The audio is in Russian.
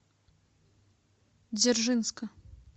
дзержинска